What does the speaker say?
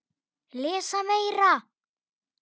Lesa meira.